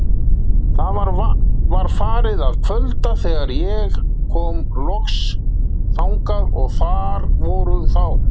Það var farið að kvölda þegar ég kom loks þangað og þar voru þá